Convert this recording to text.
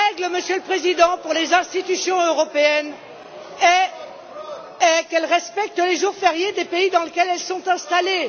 Monsieur le Président, la règle pour les institutions européennes est qu'elles respectent les jours fériés des pays dans lesquels elles sont installées.